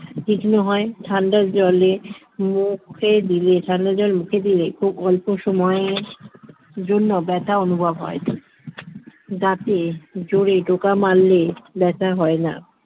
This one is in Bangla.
তীক্ষ্ণ হয় ঠান্ডা জলে মুখে দিলে জল ঠান্ডা জল মুখে দিলে খুব অল্প সময়ে জন্য ব্যথা অনুভব হয় না দাঁতে জোরে টোকা মারলে ব্যথা হয় না